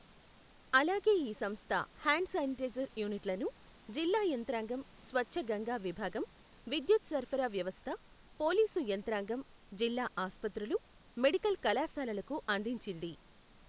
అలాగే ఈ సంస్థ హ్యాండ్ శానిటైజర్ యూనిట్లను జిల్లా యంత్రాంగం, స్వచ్ఛ గంగా విభాగం, విద్యుత్ సరఫరా వ్యవస్థ, పోలీసు యంత్రాంగం, జిల్లా ఆస్పత్రులు, మెడికల్ కళాశాలలకు అందించింది.